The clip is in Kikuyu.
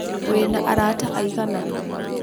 Wĩna arata aigana?